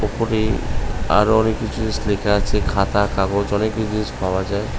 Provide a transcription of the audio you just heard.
ওপরে আরো অনেক কিছু জিনিস লেখা আছে খাতা কাগজ অনেক কিছু জিনিস পাওয়া যায়